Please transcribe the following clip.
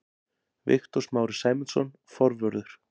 Viktor Smári Sæmundsson, forvörður.